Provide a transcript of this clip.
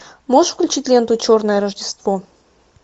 можешь включить ленту черное рождество